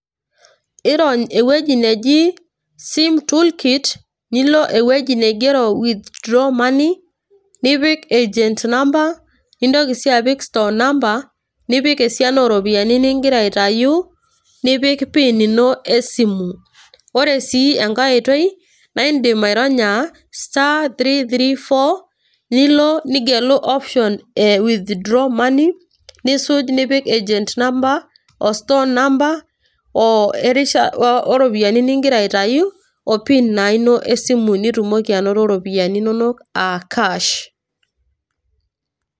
Irony entoki naji Sim toolkit ,nilo ewueji nigero withdraw money ,nipik agent number ,nintoki si apik store number ,nipik esiana oropiyiani nigira aitayu, nipik PIN ino esimu. Ore si enkae oitoi, na idim aironya sta three three four, nilo nigelu option e withdraw money ,nisuj nipik agent number o store number erisha oropiyiani nigira aitayu,o PIN na ino esimu nitumoki anoto ropiyaiani nonok a cash.